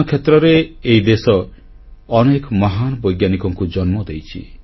ବିଜ୍ଞାନ କ୍ଷେତ୍ରରେ ଏହି ଦେଶ ଅନେକ ମହାନ ବୈଜ୍ଞାନିକମାନଙ୍କୁ ଜନ୍ମ ଦେଇଛି